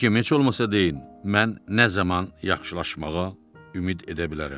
Həkim, heç olmasa deyin, mən nə zaman yaxşılaşmağa ümid edə bilərəm?